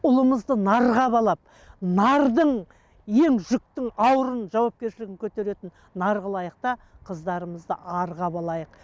ұлыңызды нарға балап нардың ең жүктің ауырын жауапкершілігін көтеретін нар қылайық та қыздарымызды арға балайық